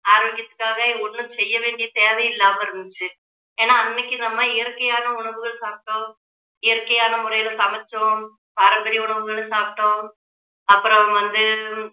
ஆரோக்கியத்துக்காக ஒண்ணும் செய்ய வேண்டிய தேவை இல்லாம இருந்துச்சு ஏன்னா அன்னைக்கு நம்ம இயற்கையான உணவுகள் சாப்பிட்டோம் இயற்கையான முறையில சமைச்சோம் பாரம்பரிய உணவுகளை சாப்பிட்டோம் அப்புறம் வந்து